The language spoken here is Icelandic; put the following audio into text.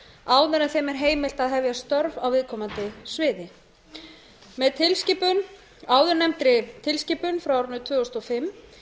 en þeim er heimilt að hefja störf á viðkomandi sviði með áðurnefndri tilskipun frá árinu tvö þúsund og fimm